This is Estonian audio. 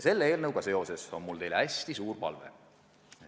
Selle eelnõuga seoses on mul teile hästi suur palve.